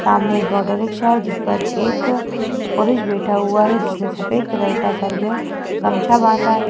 सामने एक auto rickshaw है जिस पर एक पुरुष बैठा हुआ है जिसने सफेद कलर का सर में गमछा बांधा है।